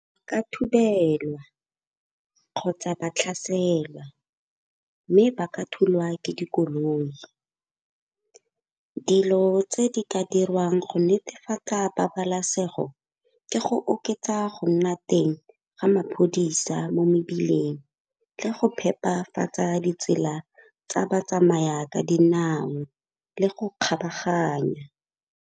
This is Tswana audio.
Ka thubelo kgotsa ba tlhaselwa mme ba ka thulwa ke dikoloi. Dilo tse di ka dirwang go netefatsa pabalesego ke go oketsa go nna teng ga maphodisa mo mebileng le go phepafatsa ditsela tsa batsamaya ka dinao le go kgabaganya.